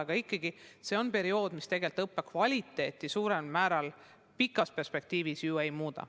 Aga nii või teisiti on see periood, mis tegelikult õppekvaliteeti suuremal määral pikas perspektiivis ju ei muuda.